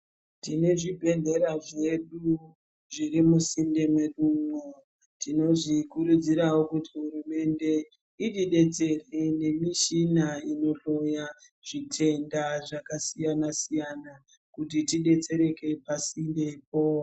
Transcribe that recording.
Tine zvibhedhelera zvedu zviri musinde mwedu umwo, tinozvikurudzirawo kuti hurumende itibetsere nemishina inohloya zvitenda zvakasiyana siyana kuti tibetsereke pasinde poo.